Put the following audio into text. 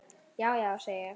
Já, já, segi ég.